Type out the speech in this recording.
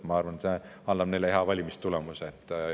Ma arvan, et see annab neile hea valimistulemuse.